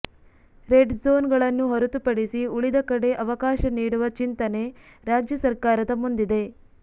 raid zone ಗಳನ್ನು ಹೊರತುಪಡಿಸಿ ಉಳಿದ ಕಡೆ ಅವಕಾಶ ನೀಡುವ ಚಿಂತನೆ ರಾಜ್ಯ ಸರ್ಕಾರದ ಮುಂದಿದೆ